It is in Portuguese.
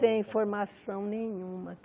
Tem formação nenhuma.